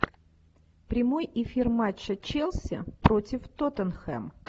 прямой эфир матча челси против тоттенхэм